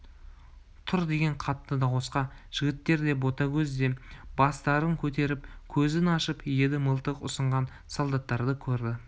тұр деген қатты дауысқа жігіттер де ботагөз де бастарын көтеріп көзін ашып еді мылтық ұсынған солдаттарды көрді